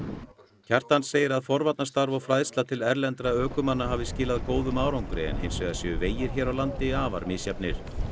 Kjartan segir að forvarnarstarf og fræðsla til erlendra ökumanna hafi skilað góðum árangri en hins vegar séu vegir hér á landi afar misjafnir